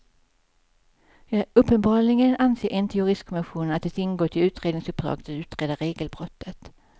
Uppenbarligen anser inte juristkommissionen att det ingått i utredningsuppdraget att utreda regelbrottet.